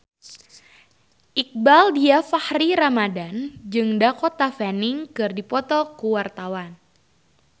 Iqbaal Dhiafakhri Ramadhan jeung Dakota Fanning keur dipoto ku wartawan